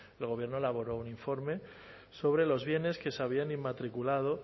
el gobierno elaboró un informe sobre los bienes que se habían inmatriculado